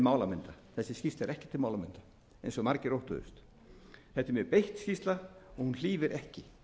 málamynda eins og margir óttuðust þetta er mjög beitt skýrsla og hún hlífir ekki